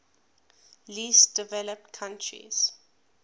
least developed countries